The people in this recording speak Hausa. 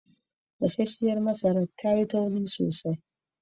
Gassanshen masaran ya na da karfi sosai.